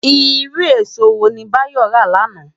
Irú ésó wóni Bayo rá làná?